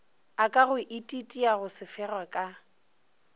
a ka ititiago sefega ka